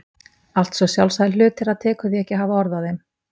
Allt svo sjálfsagðir hlutir að tekur því ekki að hafa orð á þeim.